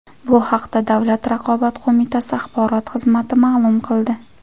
Bu haqda Davlat raqobat qo‘mitasi axborot xizmati ma’lum qildi .